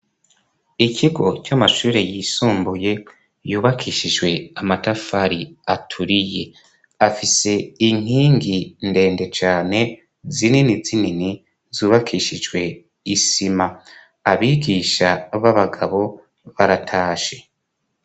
Ikigo c'amashure yisumbuye yubakishijwe amatafari aturiye. Afise inkingi ndende cane zinini zinini zubakishijwe isima. Abigisha b'abagabo baratashe.